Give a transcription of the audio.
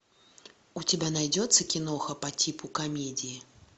у тебя найдется киноха по типу комедии